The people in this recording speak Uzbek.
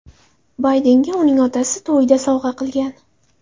Baydenga uni otasi to‘yida sovg‘a qilgan.